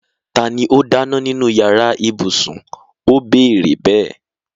Tani ó dáná nínú yàrá ibùsùn? ó béèrè bẹ́ẹ̀.